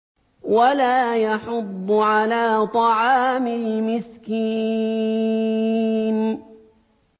وَلَا يَحُضُّ عَلَىٰ طَعَامِ الْمِسْكِينِ